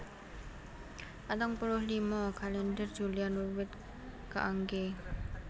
Patang puluh lima Kalèndher Julian wiwit kaanggé